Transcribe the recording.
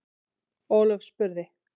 Ólöf spurði: